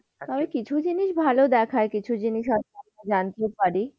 তবে কিছু জিনিস ভালো দেখায়, কিছু জিনিস আবার জানতে পারি।